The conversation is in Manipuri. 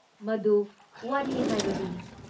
ꯃꯗꯨ ꯋꯥꯔꯤ ꯍꯥꯏꯕꯗꯨꯅꯤ ꯫